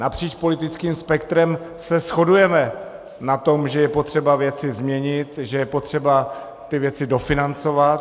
Napříč politickým spektrem se shodujeme na tom, že je potřeba věci změnit, že je potřeba ty věci dofinancovat.